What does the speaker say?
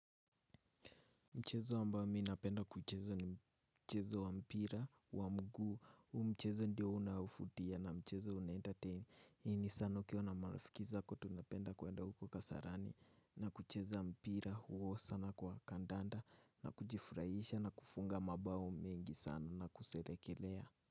Mchezo ambao mi napenda kucheza ni mchezo wa mpira wa mguu, huu mchezo ndio unafutia na mchezo una entertain, hii ni sana ukiwa na marafiki zako tunapenda kwenda huko kasarani na kucheza wa mpira huo sana kwa kandanda na kujifurahisha na kufunga mabao mengi sana na kuselekelea.